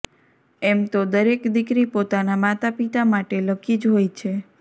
એમ તો દરેક દીકરી પોતાના માતા પિતા માટે લકી જ હોય છે